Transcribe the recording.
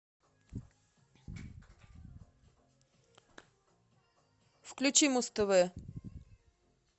включи муз тв